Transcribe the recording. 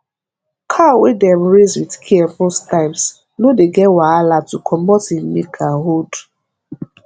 cow wey dem raise with care most times no dey get wahala to comot im milk and hold